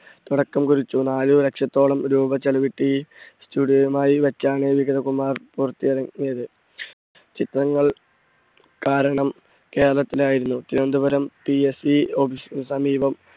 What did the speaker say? തുടക്കം കുറിച്ചു. നാല് ലക്ഷത്തോളം രൂപ ചിലവിട്ട് ഈ studio യും ആയി വെച്ചാണ് വിഗതകുമാർ പുറത്തിറങ്ങിയത്. ചിത്രങ്ങൾ കാരണം കേരളത്തിലായിരുന്നു തിരുവന്തപുരം PSEoffice നു സമീപം,